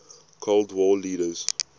cold war leaders